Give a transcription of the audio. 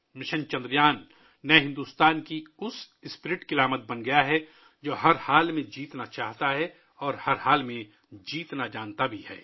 mission Chandrayaan نئے بھارت کے جذبے کی علامت بن گیا ہے، جو جیت کو یقینی بنانا چاہتا ہے اور یہ بھی جانتا ہے کہ کسی بھی حالت میں کیسے جیتنا ہے